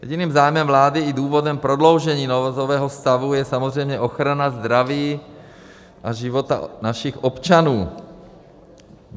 Jediným zájmem vlády i důvodem prodloužení nouzového stavu je samozřejmě ochrana zdraví a života našich občanů.